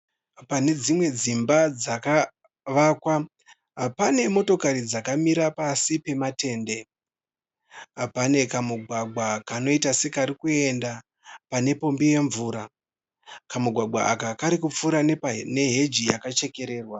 Pane dzimwe dzimba dzakavakwa pane motokari dzakamira pasi pematende. Pane kamugwagwa kanoita sekarikuenda pane pombi yemvura. Kamugwagwa aka kari kupfuura nepane heji yakachekererwa.